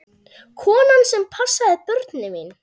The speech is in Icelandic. Konan sem passaði börnin mín.